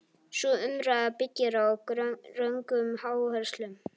Sú umræða byggir á röngum áherslum.